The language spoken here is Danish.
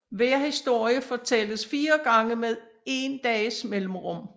Hver historie fortælles fire gange med dages mellemrum